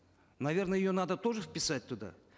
наверно ее надо тоже вписать туда